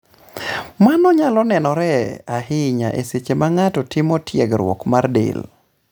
Mano nyalo nenore ahinya e seche ma ng'ato timo tiegruok mar del.